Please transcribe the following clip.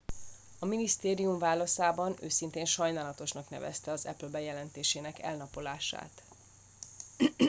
"a minisztérium válaszában "őszintén sajnálatosnak" nevezte az apple bejelentésének elnapolását.